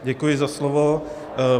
Děkuji za slovo.